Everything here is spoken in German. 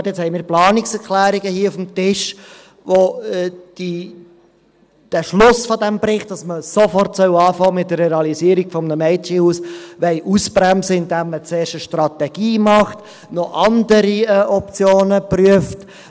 Nun haben wir Planungserklärungen hier auf dem Tisch, welche den Schluss dieses Berichts, dass man sofort mit der Realisierung eines Mädchenhauses beginnen soll, ausbremsen wollen, indem man zuerst eine Strategie macht und noch andere Optionen prüft.